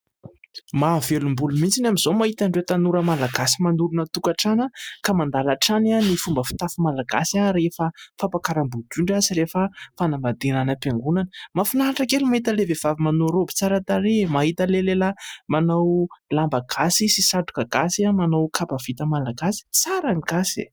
Mahavelom-bolo mihitsy amin'izao ny mahita an'ireo tanora Malagasy manorina tokantrano ka mandala hatrany ny fomba fitafy Malagasy rehefa fampiakaram-bodiondry sy rehefa fanambadiana any am-piangonana. Mahafinaritra kely ny mahita an'ilay vehivavy manao raoby tsara tarehy, mahita an'ilay lehilahy manao lamba gasy sy satroka gasy, manao kapa vita Malagasy. Tsara ny Gasy e !